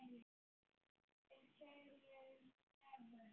Fyrir tveimur dögum?